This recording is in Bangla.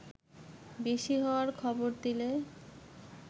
বেশি হওয়ার খবর দিলে